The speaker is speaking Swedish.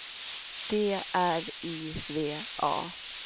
D R I V A